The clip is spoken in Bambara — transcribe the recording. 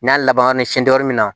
N'a laban na siɲɛ dɔra min na